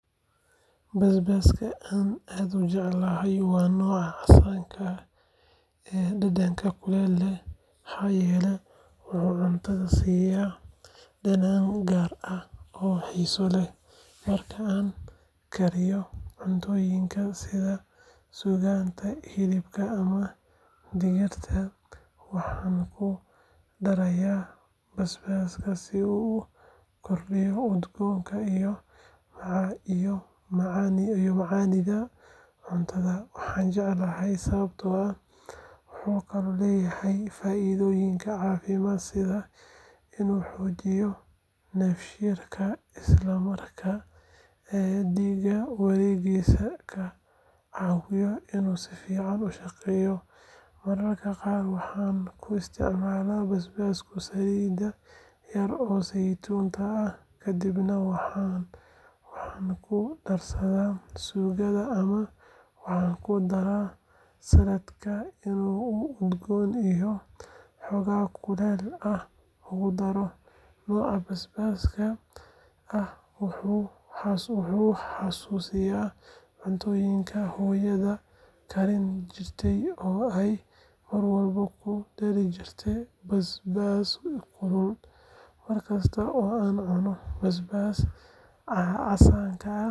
Basabaaska aad ayaan ujeclahay waa nooca casanka, wuxuu cuntada siiya dadan ugaar, sida hilibka waxaan ku daraya basbaas si uu ukordiyo udgoonka, wuxuu leyahay faidoyin cafimaad, mararka qaar waxaa ku isticmaala saliid kadibna waxaan ku daraa sugada si uu xogaa kuleel ah kudaro, wuxuu i xasusiya cuntada hooyo karin jirte oo kudari jirte basbaas.